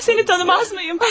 Mən səni tanımazmıyam?